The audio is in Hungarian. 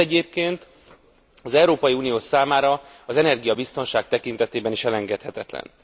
Ez egyébként az Európa Unió számára az energiabiztonság tekintetében is elengedhetetlen.